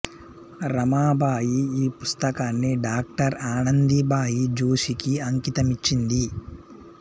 రమాబాయి ఈ పుస్తకాన్ని డాక్టర్ ఆనందీబాయి జోషి కి అంకితమిచ్చింది